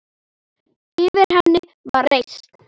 Yfir henni var reisn.